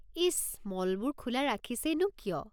ইচ! মলবোৰ খোলা ৰাখিছেই নো কিয়?